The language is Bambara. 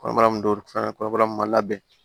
Kɔnɔbara min don fɛn kɔnɔbara min ma labɛn